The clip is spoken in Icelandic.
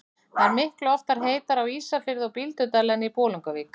Það er miklu oftar heitara á Ísafirði og Bíldudal en í Bolungarvík.